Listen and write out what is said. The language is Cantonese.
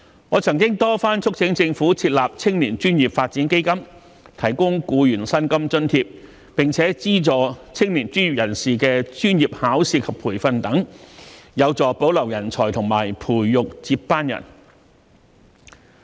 我曾多番促請政府設立青年專業發展基金，提供僱員薪金津貼，並資助青年專業人士的專業考試及培訓等，有助保留人才和培育接班人。